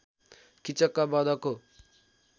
Kichak बधको